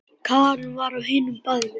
Karen var á hinu baðinu.